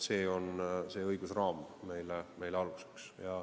See õigusraam on meile aluseks.